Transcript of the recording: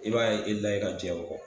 I b'a ye